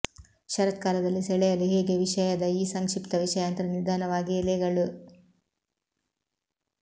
ಶರತ್ಕಾಲದಲ್ಲಿ ಸೆಳೆಯಲು ಹೇಗೆ ವಿಷಯದ ಈ ಸಂಕ್ಷಿಪ್ತ ವಿಷಯಾಂತರ ನಿಧಾನವಾಗಿ ಎಲೆಗಳು